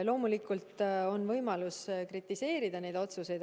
Loomulikult on võimalik kritiseerida neid otsuseid.